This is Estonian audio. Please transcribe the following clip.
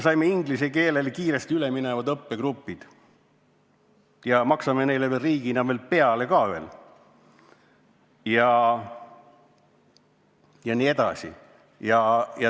Saime inglise keelele kiiresti üle minevad õppegrupid, maksame neile riigina veel pealegi.